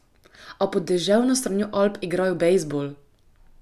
A pod deževno stranjo Alp igrajo bejzbol!